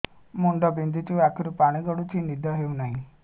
ମୁଣ୍ଡ ବିନ୍ଧୁଛି ଆଖିରୁ ପାଣି ଗଡୁଛି ନିଦ ହେଉନାହିଁ